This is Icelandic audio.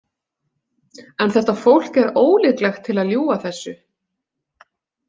En þetta fólk er ólíklegt til að ljúga þessu.